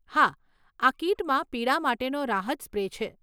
હા, આ કીટમાં પીડા માટેનો રાહત સ્પ્રે છે.